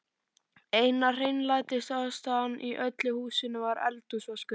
Eina hreinlætisaðstaðan í öllu húsinu var eldhúsvaskurinn.